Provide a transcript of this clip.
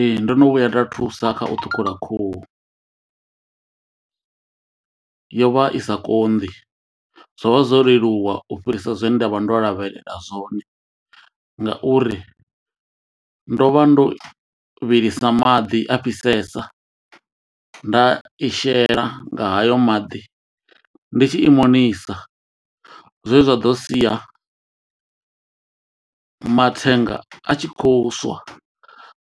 Ee ndono vhuya nda thusa kha u ṱhukhula khuhu yo vha i sa konḓi, zwo vha zwo leluwa u fhirisa zwe nda vha ndo lavhelela zwone ngauri ndo vha ndo vhilisa maḓi a fhisesa nda i shela nga hayo maḓi ndi tshi imonisa zwe zwa ḓo sia mathenga a tshi khou swa